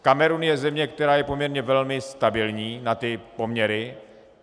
Kamerun je země, která je poměrně velmi stabilní na ty poměry.